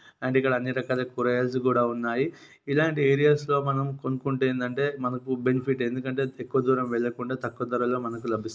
And ఇక్కడ అన్ని రకాల కూరగాయలు కూడా ఉన్నాయి. ఇలాంటి ఏరియాస్ లో మనం కొనుక్కుంటే ఏంటంటే మనకు బెనిఫిట్. ఎందుకంటే ఎక్కువ దూరం వెళ్లకుండా తక్కువ దూరంలో మనకు లభిస్తుంది